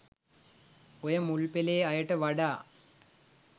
ඔය මුල්පෙලේ අයට වඩා